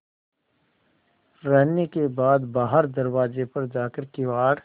रहने के बाद बाहर दरवाजे पर जाकर किवाड़